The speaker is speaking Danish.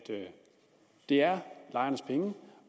det er lejernes penge